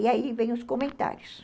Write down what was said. E aí vem os comentários.